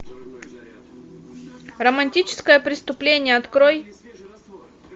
романтическое преступление открой